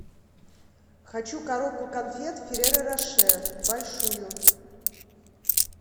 хочу коробку конфет ферреро роше большую